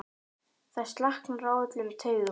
Það slaknar á öllum taugum.